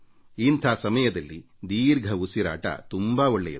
ಇಂಥ ಸಮಯದಲ್ಲಿ ದೀರ್ಘ ಶ್ವಾಸ ತೆಗೆದುಕೊಳ್ಳುವುದು ತುಂಬಾ ಒಳ್ಳೆಯದು